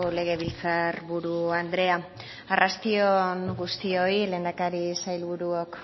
legebiltzarburu andrea arrasti on guztioi lehendakari sailburuok